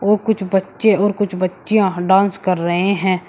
औ कुछ बच्चे और कुछ बच्चियां डांस कर रहे हैं।